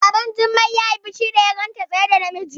Baban Jummai yayi fushi da ya ganta tsaye da namiji